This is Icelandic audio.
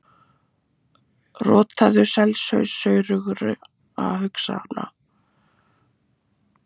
Rotaðu selshaus saurugra hugsana!